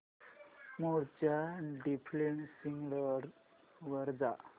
मोड च्या default settings वर जा